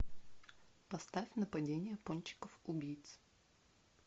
поставь нападение пончиков убийц